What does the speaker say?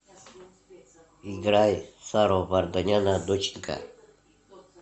играй саро варданяна доченька